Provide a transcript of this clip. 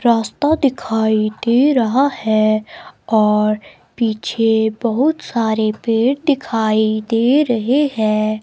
रास्ता दिखाई दे रहा है और पीछे बहुत सारे पेड़ दिखाई भी दे रहे हैं।